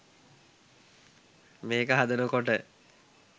මේක හදනකොට